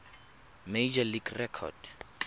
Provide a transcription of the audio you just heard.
major league record